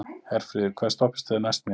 Herfríður, hvaða stoppistöð er næst mér?